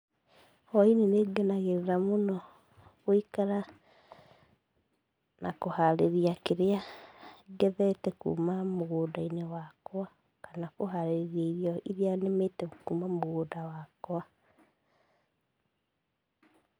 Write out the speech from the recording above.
Hwaĩ-inĩ nĩngenagĩrĩra mũno gũikara na kũharĩria kĩrĩa ngethete kuma mũgũnda-inĩ wakwa kana kũharĩria irio iria nĩmĩte kuma mũgũnda-inĩ wakwa.